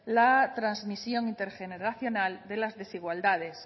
la transmisión intergeneracional de las desigualdades